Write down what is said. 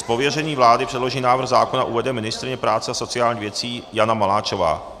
Z pověření vlády předložený návrh zákona uvede ministryně práce a sociálních věcí Jana Maláčová.